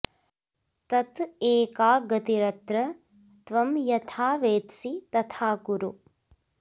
तत् एका गतिरत्र त्वं यथा वेत्सि तथा कुरु